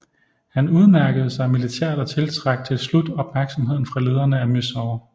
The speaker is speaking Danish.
Han udmærkede sig militært og tiltrak til slut opmærksomheden fra lederne af Mysore